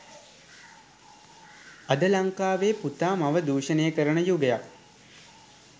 අද ලංකාවේ පුතා මව දුෂණය කරන යුගයක්